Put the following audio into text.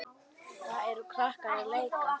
Þar eru krakkar að leika.